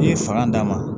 I ye fanga d'a ma